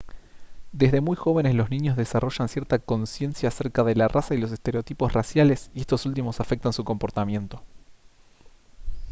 desde muy jóvenes los niños desarrollan cierta consciencia acerca de la raza y los estereotipos raciales y estos últimos afectan su comportamiento